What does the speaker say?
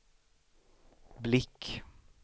blick